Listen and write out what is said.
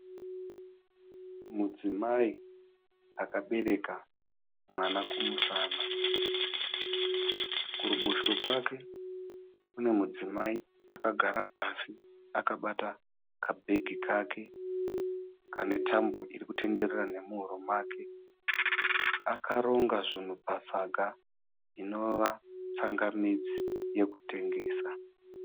Mudzimai akabereka mwana kumusana. kuruboshwe kwake kune mudzimai akagara pasi akabata kabhegi kake kane tambo iri kutenderera nemuhuro nake. Akaronga zvinhu pasaga inova tsangamidzi yekutengesa.